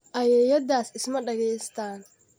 Ayeeyadaas isma dhegaystaan